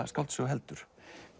skáldsögu heldur